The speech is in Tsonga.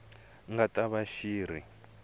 nga ta va xi ri